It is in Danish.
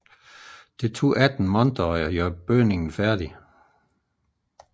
Det tog 18 måneder at færdiggøre bygningen